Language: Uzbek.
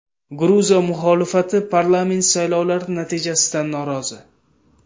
Gruziya muxolifati parlament saylovlari natijasidan norozi.